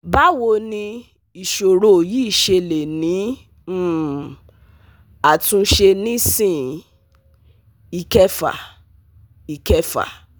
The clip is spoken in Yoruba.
Bawo ni isoro yi se le ni um atunse nisin, Ikefa Ikefa